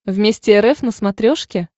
вместе рф на смотрешке